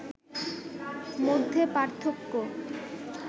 মধ্যে পার্থক্য